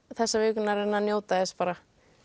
þessa vikuna að reyna að njóta þess bara